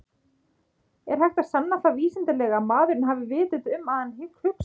Er hægt að sanna það vísindalega að maðurinn hafi vitund og að hann hugsi?